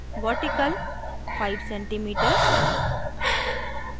vertical – 5 cm